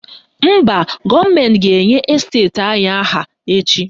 Mba, gọọmentị ga-enye esteti anyị aha echi.